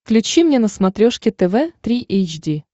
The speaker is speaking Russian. включи мне на смотрешке тв три эйч ди